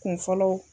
Kun fɔlɔ